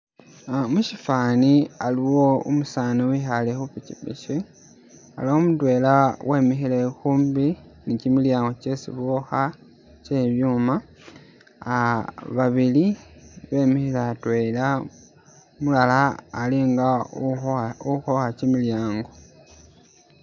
Ah mushifani aliwo umusaani wehale khupikipiki, aliwo mudwela wemihile khumbi ni kyimilyango kyesi bokha kyebibyuuma, ah babili bemihile atwela, umulala alinga ukhowa ukhowa kyimilyango